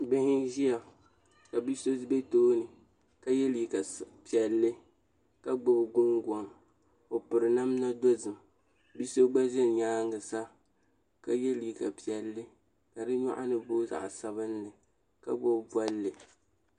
Bihi n ʒiya ka bia so bɛ tooni ka yɛ liiga piɛlli ka gbubi gungoŋ o piri namda dozim bia so gba ƶɛ nyaangi sa ka yɛ liiga piɛlli ka di nyaangi booi zaɣ sabinli ka gbubi bolli